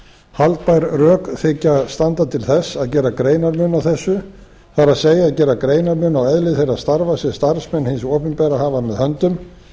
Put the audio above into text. haldbær rök þykja standa til þess að gera greinarmun á þessu það er gera greinarmun á eðli þeirra starfa sem starfsmenn hins opinbera hafa með höndum